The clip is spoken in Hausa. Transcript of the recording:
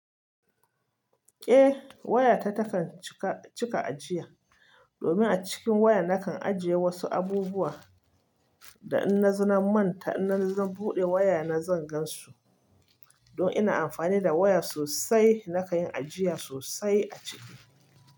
Eh waya ta takan cika ajiya domin a cikin waya na kan ajiye wasu abubuwa da in na zona manta in nazo na buɗe waya na zan gan su. Don ina amfani da waya sosai na kan yin ajiya sosai a ciki.